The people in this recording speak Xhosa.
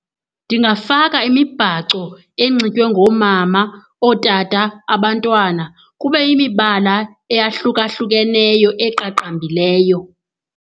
Ndingafaka imibhaco enxitywe ngoomama, ootata, abantwana. Kube yimibala eyahlukahlukeneyo eqaqambileyo.